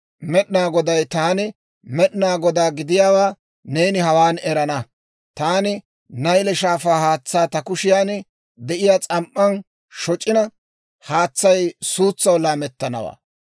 Med'inaa Goday, Taani Med'inaa Godaa gidiyaawaa neeni hawaan erana. Taani Nayle Shaafaa haatsaa ta kushiyaan de'iyaa s'am"an shoc'ina haatsay suutsaw laamettanawaa.